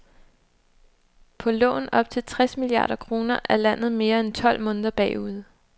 På lån op til tres milliarder kroner er landet mere end tolv måneder bagud.